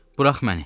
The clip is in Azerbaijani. Burax məni.